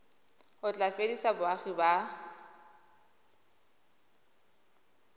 o tla fedisa boagi ba